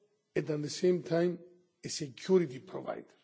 and at the same time, a security provider.